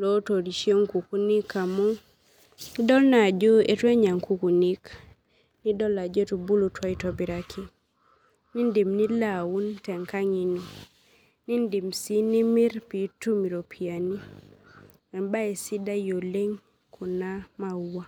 otorishie nkukuniik amu idol naa ajo ituenya nkukunik nidol ajo etubulutua aitobiraki nindim nilo aun tenkang ino nindim nimir nitum iropiyani neaku embae sidai oleng kuna maua.